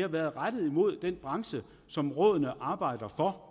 har været rettet imod den branche som rådene arbejder for